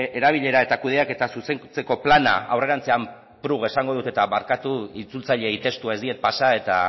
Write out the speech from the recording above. erabilera eta kudeaketa zuzentzeko plana aurrerantzean prug esango dut eta barkatu itzultzaileei testua ez diet pasa eta